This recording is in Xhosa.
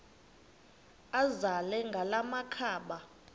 azele ngala makhaba